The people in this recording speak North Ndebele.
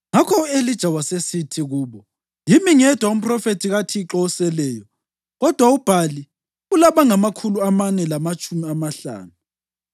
Ngakho u-Elija wasesithi kubo, “Yimi ngedwa umphrofethi kaThixo oseleyo kodwa uBhali ulabangamakhulu amane lamatshumi amahlanu.